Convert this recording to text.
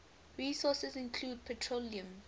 resources include petroleum